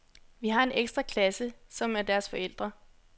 Vi har en ekstra klasse, som er deres forældre.